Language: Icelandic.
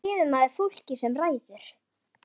Hvað gefur maður fólkinu sem ræður?